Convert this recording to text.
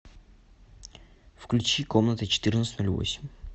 включи комната четырнадцать ноль восемь